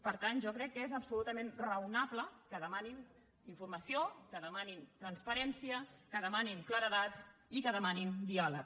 per tant jo crec que és absolutament raonable que demanin informació que demanin transparència que demanin claredat i que demanin diàleg